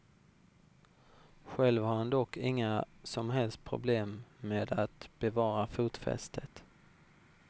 Själv har han dock inga som helst problem med att bevara fotfästet.